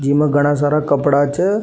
जिमे घणा सारा कपड़ा छे।